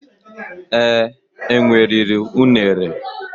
Ee, enwe riri unere